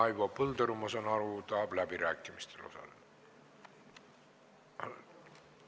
Raivo Põldaru, ma saan aru, tahab läbirääkimistel osaleda.